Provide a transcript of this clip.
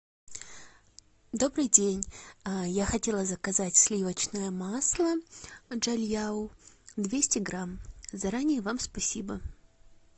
добрый день я хотела заказать сливочное масло джальяу двести грамм заранее вам спасибо